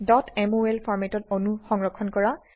mol ফৰম্যাটত অণু সংৰক্ষণ কৰা